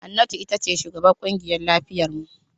Hannatu ita ce shugabar kungiyar lafiyar mu.